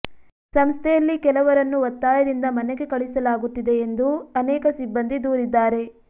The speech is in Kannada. ಸಂಸ್ಥೆಯಲ್ಲಿ ಕೆಲವರನ್ನು ಒತ್ತಾಯದಿಂದ ಮನೆಗೆ ಕಳಿಸಲಾಗುತ್ತಿದೆ ಎಂದು ಅನೇಕ ಸಿಬ್ಬಂದಿ ದೂರಿದ್ದಾರೆ